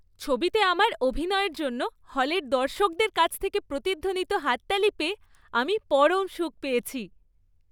ছবিতে আমার অভিনয়ের জন্য হলের দর্শকদের কাছ থেকে প্রতিধ্বনিত হাততালি পেয়ে আমি পরম সুখ পেয়েছি!